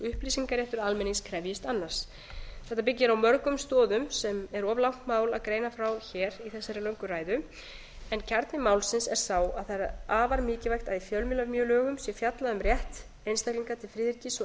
upplýsingaréttur almennings krefjist annars þetta byggir á mörgum stoðum sem er of langt mál að greina frá hér í þessari löngu ræðu en kjarni málsins er sá að það er afar mikilvægt að í fjölmiðlalögum sé fjallað um rétt einstaklinga til friðhelgis og